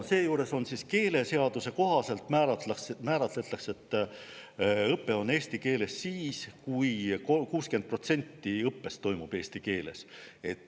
Seejuures määratletakse keeleseaduse kohaselt, et õpe on eesti keeles siis, kui 60% õppest toimub eesti keeles.